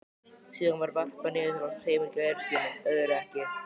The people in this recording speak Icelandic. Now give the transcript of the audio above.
Síðan var varpað niður til hans tveimur gæruskinnum, öðru ekki.